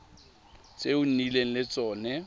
tse o nnileng le tsone